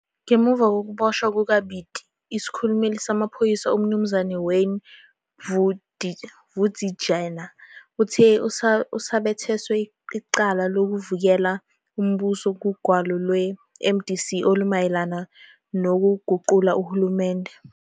Ngemva kokubotshwa kukaBiti, isikhulumeli samapholisa uMnu Wayne Bvudzijena uthe uzabetheswa icala lokuvukela umbuso kugwalo lweMDC olumayelana lokuguqula uhulumende.